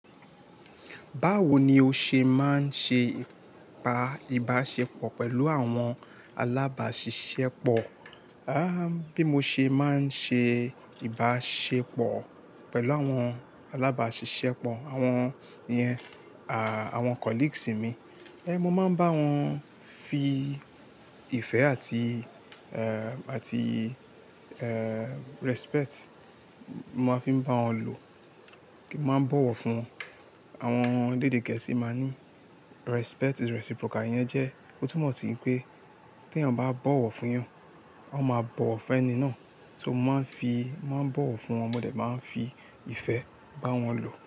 Báwo ni o ṣe máa ń ṣe pa ìbáṣepọ̀ pẹ̀lú àwọn alábàṣiṣẹ́ pọ̀? Bí mo ṣe máa ń ṣe ìbáṣepọ̀ pẹ̀lú àwọn alábàṣiṣẹ́ pọ̀, àwọn yẹn à, àwọn colleagues mi. Ẹn, mo máa ń bá wọn fi ìfẹ́ àti, eh, àti, eh, respect. Mo máa ń fi bá wọn lò. Mo máa ń bọ̀wọ̀ fún wọn. Àwọn elédé Gẹ̀ẹ́sì máa ní respect is reciprocal. Ìyẹn jẹ, ó túmọ̀ sí pé tí eyan bá bọ̀wọ̀ fún eyan, a máa bọ̀wọ̀ fún ẹni náà. So mo máa ń fi, máa ń bọ̀wọ̀ fún wọn. Mo dẹ̀ máa ń fi ìfẹ́ bá wọn lò.